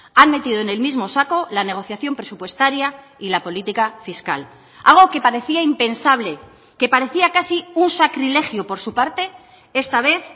han metido en el mismo saco la negociación presupuestaria y la política fiscal algo que parecía impensable que parecía casi un sacrilegio por su parte esta vez